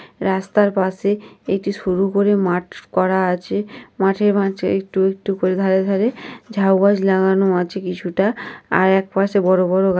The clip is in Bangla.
রাস্তার পাশে একটি সরু করে মাঠ করা আছে মাঠের মাঝে একটু একটু করে ধরে ধরে ঝাউ গাছ লাগানো আছে কিছুটা আর এক পাশে বড় বড় গা--